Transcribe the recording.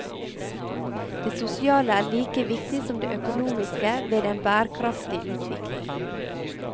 Det sosiale er like viktig som det økonomiske ved en bærekraftig utvikling.